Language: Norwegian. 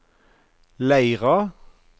Leira